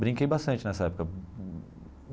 Brinquei bastante nessa época.